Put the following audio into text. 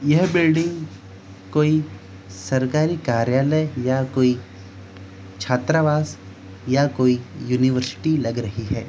यह बिल्डिंग कोई सरकारी कार्यालय या कोई छात्रावास या कोई यूनिवर्सिटी लग रही है।